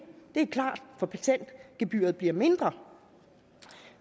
det er klart for patentgebyret bliver mindre